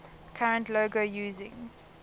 current logo using